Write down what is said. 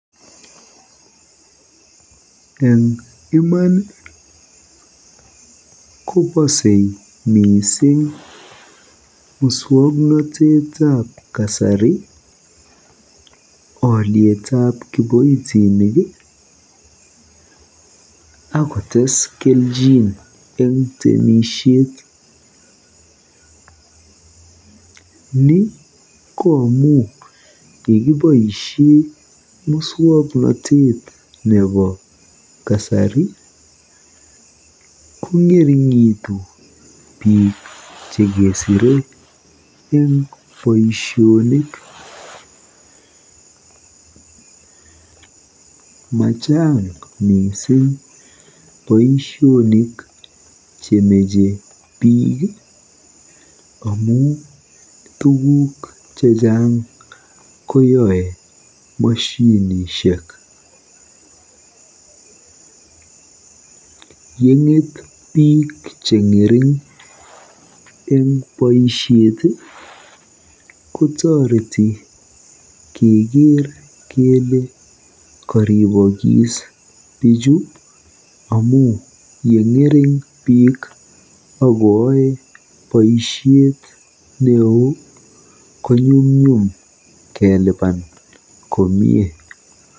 Eng iman ko bosei mising muswoknoteteb kasari olietab kiboitinik akotes kelchin eng temisiet. Ni ko amu yekiboisie muswoknotet nebo kasari kong'ering'itu mising bik chekesire eng boisionik. Machang mising boisionik chemache biik amu tuguk chechang koyae moshinishek. Yeng'et biik cheng'ering eng boisiet kotoreti keker kele koribokis bichu amu yeng'ering biik akoae boisiet neo konyumnyum kelipan komie.